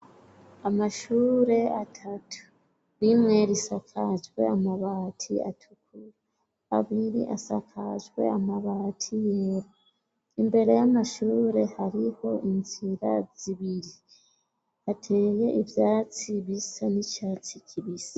Amashure atatu, rimwe risakajwe amabati atukura, abiri asakajwe amabati yera, imbere y'amashure hariho inzira zibiri, hateye ivyatsi bisa n'icatsi kibisi.